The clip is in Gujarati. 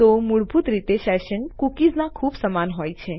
તો મૂળભૂત રીતે સેશન્સ કૂકીઝના ખૂબ સમાન હોય છે